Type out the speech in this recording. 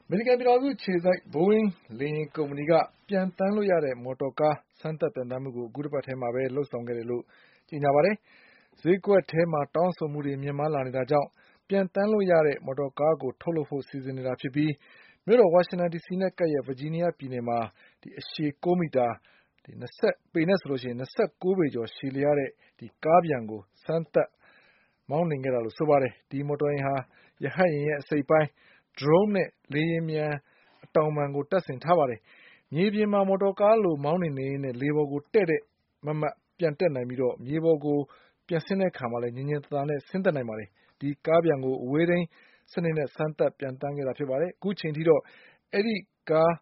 မေရိကန်ပြည်ထောင်စုအခြေစိုက် ဘိုးအင်းလေယာဉ်ကုမ္ပဏီက ပျံသန်းလို့ရတဲ့ မော်တော်ကား စမ်းသပ်ပျံသန်းမှုကို အခုတပတ်ထဲ မှာလုပ်ဆောင်ခဲ့တယ်လို့ဆိုပါတယ်။ ဈေးကွက်မှာတောင်းဆိုမှုတွေမြင့်မားလာနေလို့ ပျံသန်းလို့ရတဲ့ ကားကိုထုတ်လုပ်ဖို့ စီစဉ်နေတာဖြစ်ပြီး မြို့တော်ဝါရှင်တန်ဒီစီနဲ့ကပ်ရက် ဗာဂျီးနီးယားပြည်နယ်မှာ ၂၉ပေကျော်ရှည်လျှားတဲ့ ကားပျံကိုစမ်း သပ်မောင်းနှင်ခဲ့တာလို့ဆိုပါတယ်။ ဒီမော်တော်ယာဉ်မှာ ရဟတ်ယာဉ်ရဲ့ အစိတ်အပိုင်း၊ Drone ရဲ့အစိတ်အပိုင်းနဲ့ လေယာဉ်ပျံအတောင်ပံတု့ိကို တပ်ဆင်ထားပါတယ်။ မြေပြင်မှာ မော်တော်ကားလိုမောင်းနှင်နေရင်း လေထဲကိုဒေါင်လိုက်တည့် တည့်ပျံတက်နိုင်ပြီး၊ မြေပြင်ပေါ်ကိုလည်းညင်ညင်သာသာဆင်းသက်နိုင်ပါတယ်။ ဒီကားပျံကို အဝေးထိန်းစနစ်စမ်းသပ် ပျံသန်းခဲ့တာပါ။ အခုချိန်ထိတော့ ဒီကား